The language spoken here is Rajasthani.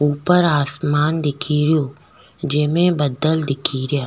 ऊपर आसमान दिखेरो जेमे बदल दिखे रिया।